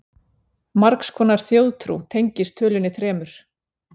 margs konar þjóðtrú tengist tölunni þremur